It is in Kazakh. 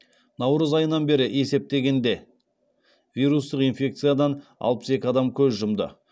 наурыз айынан бері есептегенде вирустық инфекциядан алпыс екі адам көз жұмды